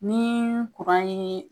Ni ye.